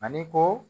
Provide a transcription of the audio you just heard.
Ani ko